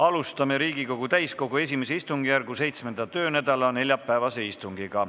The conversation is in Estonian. Alustame Riigikogu täiskogu I istungjärgu 7. töönädala neljapäevast istungit.